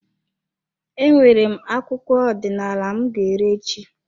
E nwere m akwụkwọ abụ ọdinala m ga ere echi.